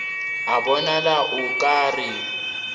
a bonala o ka re